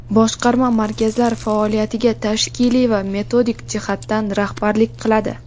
Boshqarma markazlar faoliyatiga tashkiliy va metodik jihatdan rahbarlik qiladi.